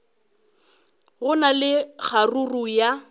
go na le kgaruru ya